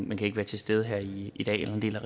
men kan ikke være til stede her i i dag jeg vil